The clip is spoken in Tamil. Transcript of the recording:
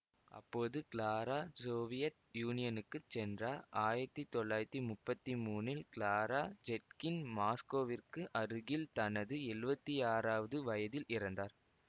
அப்போது கிளாரா சோவியத் யூனியனுக்கு சென்றார் ஆயிரத்தி தொள்ளாயிரத்தி முப்பத்தி மூனில் கிளாரா ஜெட்கின் மாஸ்கோவிற்கு அருகில் தனது எழுவத்தி ஆறாவது வயதில் இறந்தார்